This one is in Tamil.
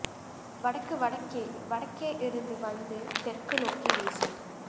வடக்கு வடக்கே வடக்கே இருந்து வந்து தெற்கு நோக்கி வீசும்